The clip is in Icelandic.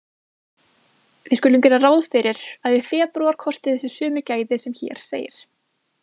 Við skulum gera ráð fyrir að í febrúar kosti þessi sömu gæði sem hér segir: